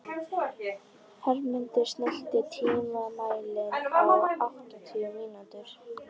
Hermundur, stilltu tímamælinn á áttatíu mínútur.